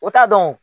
O t'a dɔn